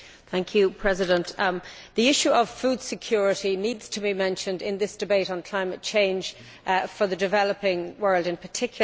Madam President, the issue of food security needs to be mentioned in this debate on climate change, for the developing world in particular.